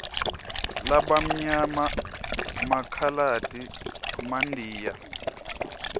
labamnyama makhaladi mandiya